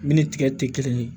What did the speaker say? Min ni tigɛ te kelen ye